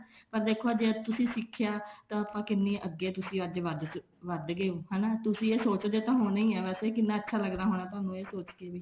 ਪਰ ਦੇਖੋ ਅੱਜ ਤੁਸੀਂ ਸਿੱਖਿਆ ਤਾਂ ਕਿੰਨੀ ਅੱਗੇ ਅੱਜ ਤੁਸੀਂ ਵੱਧ ਗਏ ਓ ਹਨਾ ਤੁਸੀਂ ਇਹ ਸੋਚਦੇ ਤਾਂ ਹੋਣੇ ਹੀ ਆ ਵੈਸੇ ਕਿੰਨਾ ਅੱਛਾ ਲੱਗਦਾ ਹੋਣਾ ਥੋਨੂੰ ਇਹ ਸੋਚ ਕੇ ਵੀ